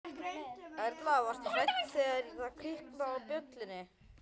Erla: Varstu hrædd þegar það kviknaði á, á bjöllunni?